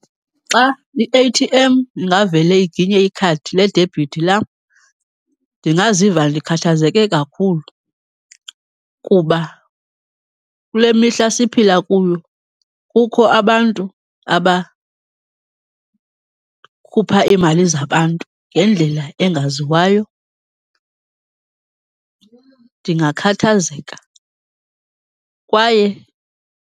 Xa i-A_T_M ingavele iginye ikhadi ledebithi lam ndingaziva ndikhathazeke kakhulu kuba kule mihla siphila kuyo kukho abantu abakhupha iimali zabantu ngendlela engaziwayo. Ndingakhathazeka kwaye.